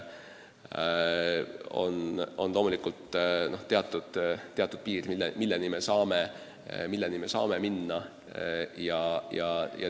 On loomulikult teatud piir, milleni me saame minna.